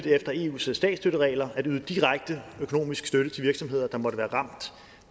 efter eus statsstøtteregler at yde direkte økonomisk støtte til virksomheder der måtte være ramt